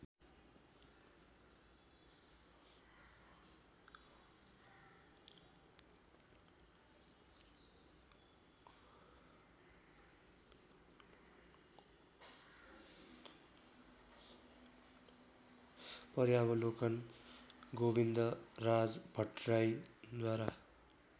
पर्यावलोकन Govindraj भट्टराईद्वारा